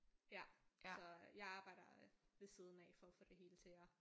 Ja så jeg arbejder øh ved siden af for at få det hele til at